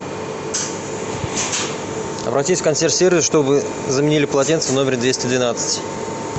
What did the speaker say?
обратись в консьерж сервис чтобы заменили полотенца в номере двести двенадцать